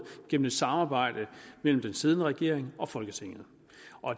gennem et samarbejde mellem den siddende regering og folketinget